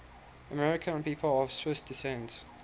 american people of swiss descent